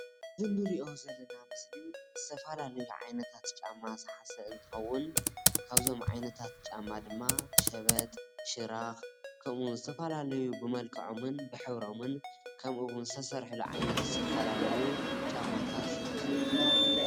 እዚ ንሪኦ ዘለና ምስሊ ዝተፈላለየ ዓይነታት ጫማ ዝሓዘ እንትኸውን ካብዞም ዓይነታት ጫማ ድማ ሸበጥ ሽራኽ ከምኡ ውን ዝተፈላለዩ ብመልከዐሙን ብሕብሮምን ከምኡ ውን ዝተሰርሑሉን ዓይነት ዝተፈላለዩ ጫማታት ይርከቡ።